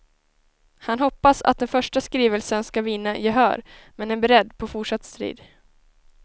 Han hoppas att den första skrivelsen skall vinna gehör, men är beredd på fortsatt strid.